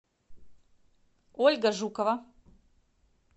ольга жукова